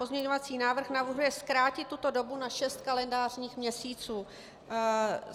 Pozměňovací návrh navrhuje zkrátit tuto dobu na šest kalendářních měsíců.